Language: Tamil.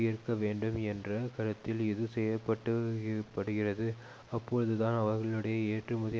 இருக்கவேண்டும் என்ற கருத்தில் இது செய்யப்பட்டபடுகிறது அப்பொழுதுதான் அவர்களுடைய ஏற்றுமதி